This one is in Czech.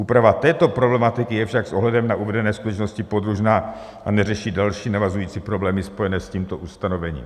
Úprava této problematiky je však s ohledem na uvedené skutečnost podružná a neřeší další navazující problémy spojené s tímto ustanovením.